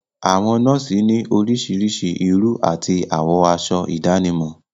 Àwọn nọ́ọ̀sì ni orísirísi irú àti àwọ aṣọ ìdánimọ̀.